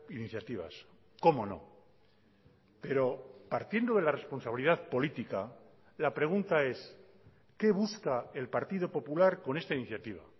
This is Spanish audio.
iniciativas cómo no pero partiendo de la responsabilidad política la pregunta es qué busca el partido popular con esta iniciativa